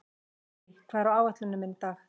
Gurrí, hvað er á áætluninni minni í dag?